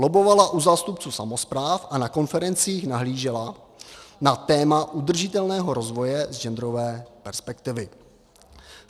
Lobbovala u zástupců samospráv a na konferencích nahlížela na téma udržitelného rozvoje z genderové perspektivy.